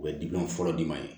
U bɛ fɔlɔ di ma ye